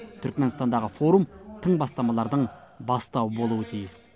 түрікменстандағы форум тың бастамалардың бастауы болуы тиіс